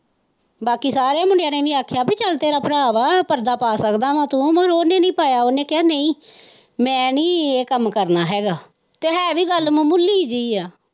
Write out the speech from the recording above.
ਬਾਕੀ ਸਾਰੀਆਂ ਮੁੰਡਿਆਂ ਨੇ ਵੀ ਆਖਿਆ ਕੀ ਚੱਲ ਤੇਰਾ ਭਰਾ ਵਾ ਪਰਦਾ ਪਾ ਸਕਦਾ ਵਾ ਤੋਂ ਪਰ ਉਹਨੇ ਨਹੀਂ ਪਾਇਆ ਉਹਨੇ ਕਹਿਆ ਕਿ ਭੀ ਮੈ ਨਹੀਂ ਇਹ ਕੰਮ ਕਰਨਾ ਹੈਗਾ ਤੇ ਹੈ ਵੀ ਗੱਲ ਮਾਮੂਲੀ ਜਿਹੀ ਹੈ।